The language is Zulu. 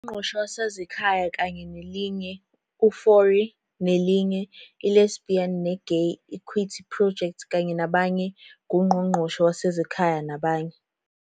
Ungqongqoshe Wezasekhaya kanye nelinye v Fourie nelinye, I-Lesbi ne-Gay Equity Project kanye nabanye v nguNgqongqoshe Wezasekhaya nabanye,